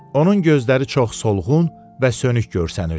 Onun gözləri çox solğun və sönük görsənirdi.